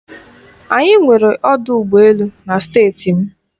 Anyị nwere ọdụ ụgbọ elu na Steeti m.